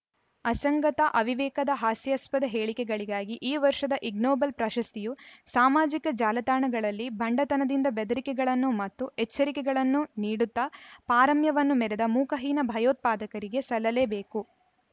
ಅಸಂಗತ ಅವಿವೇಕದ ಹಾಸ್ಯಾಸ್ಪದ ಹೇಳಿಕೆಗಳಿಗಾಗಿ ಈ ವರ್ಷದ ಇಗ್ನೋಬಲ್‌ ಪ್ರಶಸ್ತಿಯು ಸಾಮಾಜಿಕ ಜಾಲತಾಣಗಳಲ್ಲಿ ಭಂಡತನದಿಂದ ಬೆದರಿಕೆಗಳನ್ನು ಮತ್ತು ಎಚ್ಚರಿಕೆಗಳನ್ನು ನೀಡುತ್ತ ಪಾರಮ್ಯವನ್ನು ಮೆರೆದ ಮುಖಹೀನ ಭಯೋತ್ಪಾದಕರಿಗೆ ಸಲ್ಲಲೇಬೇಕು